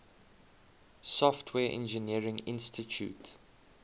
software engineering institute